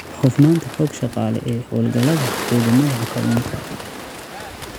Hufnaanta Xoog-Shaqale ee Hawlgallada Xidhmada Kalluunka.